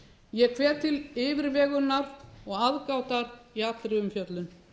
ég hvet til yfirvegunar og aðgátar í allra umfjöllun